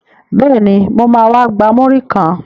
Bẹ́ẹ̀ni, mo ma wá gba múrí kan